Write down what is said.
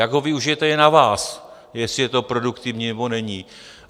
Jak ho využijete, je na vás, jestli je to produktivní, nebo není.